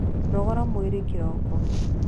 Nogora mwĩrĩ ĩroko